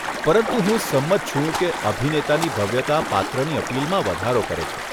પરંતુ હું સંમત છું કે અભિનેતાની ભવ્યતા પાત્રની અપીલમાં વધારો કરે છે.